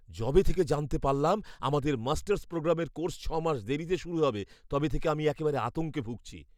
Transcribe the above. যবে থেকে জানতে পারলাম আমাদের মাস্টার্স প্রোগ্রামের কোর্স ছ' মাস দেরিতে শুরু হবে, তবে থেকে আমি একেবারে আতঙ্কে ভুগছি।